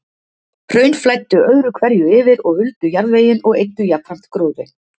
Hraun flæddu öðru hverju yfir og huldu jarðveginn og eyddu jafnframt gróðri.